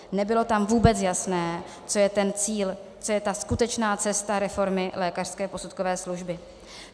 Nebylo tam vůbec jasné, co je ten cíl, co je ta skutečná cesta reformy lékařské posudkové služby.